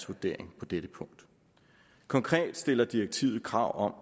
vurdering på dette punkt konkret stiller direktivet krav om